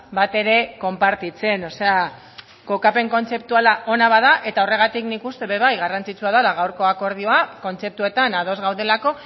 batere konpartitzen o sea kokapen kontzeptuala ona bada eta horregatik nik uste ere bai garrantzitsua dala gaurko akordioa kontzeptuetan ados gaudelako